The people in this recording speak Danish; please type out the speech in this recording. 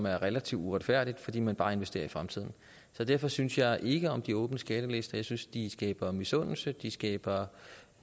er relativt uretfærdigt at fordi man bare investerer i fremtiden så derfor synes jeg ikke om de åbne skattelister jeg synes de skaber misundelse de skaber